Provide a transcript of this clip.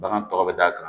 Bagan tɔ bɛ d'a kan